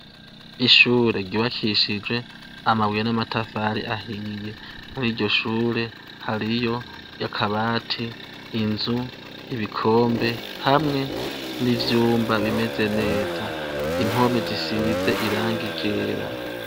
Ishure ryubakishijwe amabuye namatafari ahiye muri iryoshure hariyo akabati inzu ibikombe hamwe nivyumba bimeze neza impome zisize irangi ryera